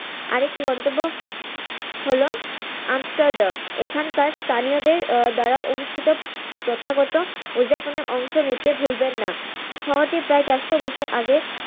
আরেকটি গন্তব্য হল Amsterdam এখানকার স্থানিয়দের আহ দ্বারা অনুষ্ঠিত প্রথাগত উজ্জাপনে অংশ নিতে ভুলবেন না, শহরটি প্রায় চারশো বছর আগে